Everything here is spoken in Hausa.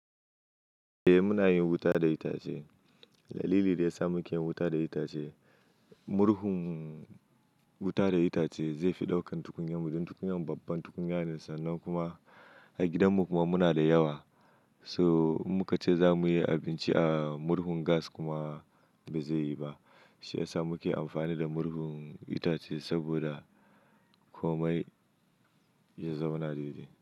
Eh muna yin wuta da itace. Dalili da ya sa muke yin wuta da itace murhun wuta da itace zai fi ɗaukan tukunyan mu, don tukunyan babban tukunya ne, sannan kuma a gidan mu kuma muna da yawa. So in muka ce za mu yi abinci a murhun gas kuma, bai zai yi ba. Shi ya sa muke amfani da murhun itace, saboda komai ya zauna daidai.